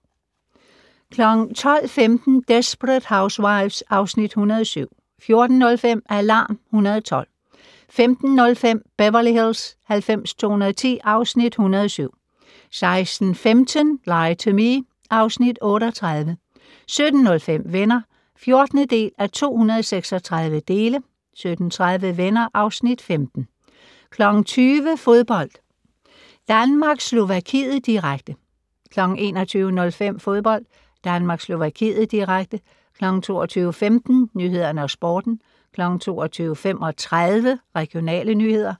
12:15: Desperate Housewives (Afs. 107) 14:05: Alarm 112 15:05: Beverly Hills 90210 (Afs. 107) 16:15: Lie to Me (Afs. 38) 17:05: Venner (14:236) 17:30: Venner (Afs. 15) 20:00: Fodbold: Danmark-Slovakiet, direkte 21:05: Fodbold: Danmark-Slovakiet, direkte 22:15: Nyhederne og Sporten 22:35: Regionale nyheder